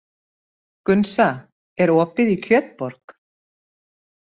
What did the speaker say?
Gunnsa, er opið í Kjötborg?